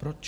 Proč?